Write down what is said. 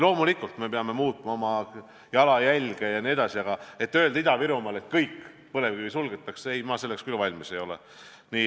Loomulikult, me peame muutma oma süsinikujalajälge jne, aga öelda Ida-Virumaal, et kõik, põlevkivitööstus suletakse – ei, mina selleks küll valmis ei ole.